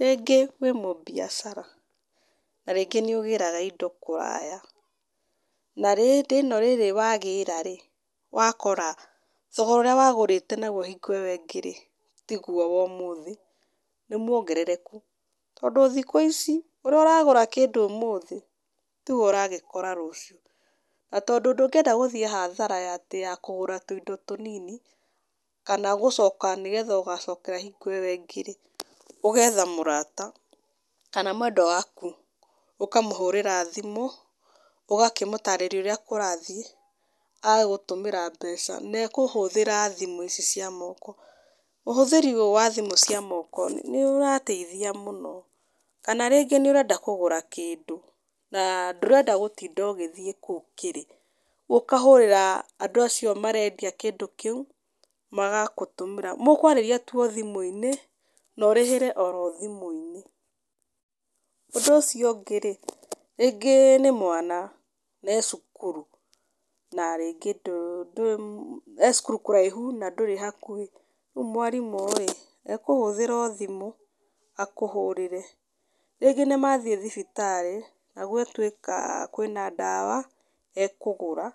Rĩngĩ wĩ mũbiacara, na rĩngĩ nĩ ũgĩraga indo kũraya. Na hĩndĩ ĩno rĩrĩ wagĩra rĩ, wakora thogora ũrĩa wagũrĩte naguo hingo ĩyo ĩngĩ rĩ, tiguo wa ũmũthĩ, nĩ muongerereku. Tondũ thikũ ici, ũrĩa ũragũra kĩndũ ũmũthĩ, tiguo ũragĩkora rũciũ. Na tondũ ndũngĩenda gũthiĩ hathara atĩ ya kũgũra tũindo tũnini, kana gũcoka nĩgetha ũgacokera hingo ĩyo ĩngĩ rĩ, ũgetha mũrata, kana mwendwa waku, ũkamũhũrĩra thimũ, ũgakĩmũtarĩria ũrĩa kũrathiĩ, agagĩgũtũmĩra mbeca. Na ekũhũthĩra thimũ ici cia moko. Ũhũthĩri ũyũ wa thimũ cia moko, nĩ ũrateithia mũno. Kana rĩngĩ nĩ ũrenda kũgũra kĩndũ, na ndũrenda gũtinda ũgĩthiĩ kũu kĩrĩ, ũkahũrĩra andũ acio marendia kĩndũ kĩu, magakũtũmĩra. Mũkwarĩria tu o thimũ-inĩ na ũrĩhĩre oro thimũ-inĩ. Ũndũ ũcio ũngĩ rĩ, rĩngĩ nĩ mwana, ee cukuru, na rĩngĩ, ndũrĩ, ee cukuru kũraihu, na ndũrĩ hakuhĩ, rĩu mwarimũ ĩĩ, ekũhũthĩra o thimũ, akũhũrĩre. Rĩngĩ nĩ mathiĩ thibitarĩ, na gwatuĩka kwĩna ndawa, ekũgũra,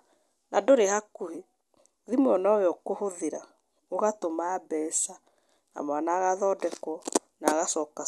na ndũrĩ hakuhĩ, thimũ ĩyo no yo ũkũhũthĩra, ũgatũma mbeca na mwana agathondekwo na agacoka.